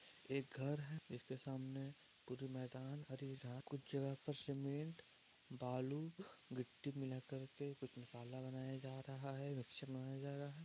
एक घर है। इसके सामने पूरी मैदान कुछ जगह पर सीमेंट बालू गिट्टी मिलाकर के कुछ मसाला बनाया जा रहा है मिक्सर बनाया जा रहा है।